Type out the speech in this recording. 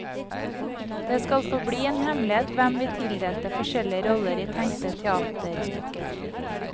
Det skal forbli en hemmelighet hvem vi tildelte forskjellige roller i tenkte teaterstykker.